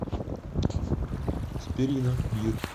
спирино бир